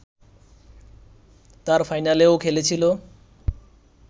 তার ফাইনালেও খেলেছিল